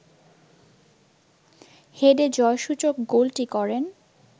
হেডে জয়সূচক গোলটি করেন